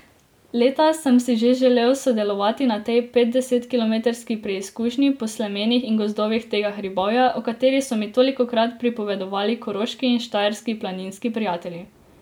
Leta sem si že želel sodelovati na tej petdesetkilometrski preizkušnji po slemenih in gozdovih tega hribovja, o kateri so mi tolikokrat pripovedovali koroški in štajerski planinski prijatelji.